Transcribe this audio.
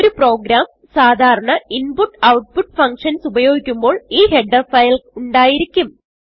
ഒരു പ്രോഗ്രാം സാധാരണ input output functions ഉപയോഗിക്കുമ്പോൾ ഈ ഹെഡർ ഫയൽ ഉണ്ടായിരിക്കും